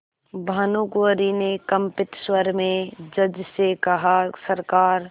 भानुकुँवरि ने कंपित स्वर में जज से कहासरकार